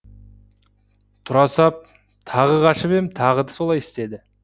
тұра сап тағы қашып ем тағы солай істеді